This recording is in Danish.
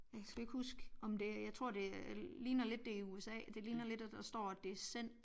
Ja kan sgu ikke husk om det jeg tror det ligner lidt det i USA det ligner lidt at der står at det er cent